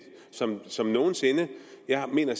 som som nogen sinde jeg mener